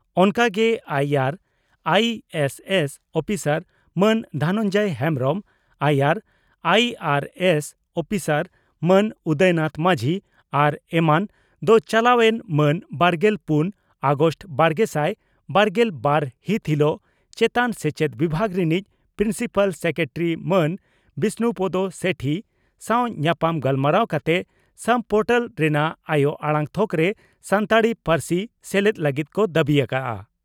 ᱚᱱᱠᱟ ᱜᱮ ᱟᱭᱟᱨ ᱟᱭᱤᱹᱮᱥᱹᱮᱥᱹ ᱩᱯᱤᱥᱟᱨ ᱢᱟᱱ ᱫᱷᱚᱱᱚᱱᱡᱚᱭ ᱦᱮᱢᱵᱽᱨᱚᱢᱹ ᱟᱭᱟᱨ ᱟᱭᱤᱹᱟᱨᱹᱮᱥᱹ ᱩᱯᱤᱥᱟᱨ ᱢᱟᱹᱱ ᱩᱫᱚᱭ ᱱᱟᱛᱷ ᱢᱟᱹᱡᱷᱤ ᱟᱨ ᱮᱢᱟᱱ ᱫᱚ ᱪᱟᱞᱟᱣ ᱮᱱ ᱢᱟᱹᱱ ᱵᱟᱨᱜᱮᱞ ᱯᱩᱱ ᱟᱜᱚᱥᱴ ᱵᱟᱨᱜᱮᱥᱟᱭ ᱵᱟᱨᱜᱮᱞ ᱵᱟᱨ ᱦᱤᱛ ᱦᱤᱞᱚᱜ ᱪᱮᱛᱟᱱ ᱥᱮᱪᱮᱫ ᱵᱤᱵᱷᱟᱹᱜᱽ ᱨᱤᱱᱤᱡ ᱯᱨᱤᱱᱥᱤᱯᱟᱞ ᱥᱮᱠᱨᱮᱴᱟᱨᱤ ᱢᱟᱱ ᱵᱤᱥᱱᱩᱯᱚᱫᱚ ᱥᱮᱴᱷᱤ ᱥᱟᱣ ᱧᱟᱯᱟᱢ ᱜᱟᱞᱢᱟᱨᱟᱣ ᱠᱟᱛᱮ ᱥᱟᱢ ᱯᱚᱨᱴᱟᱞ ᱨᱮᱱᱟᱜ ᱟᱭᱚ ᱟᱲᱟᱝ ᱛᱷᱚᱠᱨᱮ ᱥᱟᱱᱛᱟᱲᱤ ᱯᱟᱹᱨᱥᱤ ᱥᱮᱞᱮᱫ ᱞᱟᱹᱜᱤᱫ ᱠᱚ ᱫᱟᱹᱵᱤ ᱟᱠᱟᱫᱼᱟ ᱾